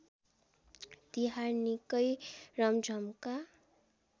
तिहार निकै रमझमका